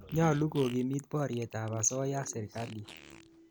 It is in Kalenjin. Nyalu kokimit poryet ap asoya sirikalit